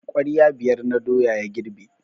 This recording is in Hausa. Kwarya biyar na doya ya girbe.